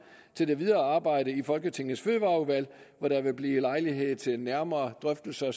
til det videre arbejde i folketingets fødevareudvalg hvor der vil blive lejlighed til nærmere drøftelser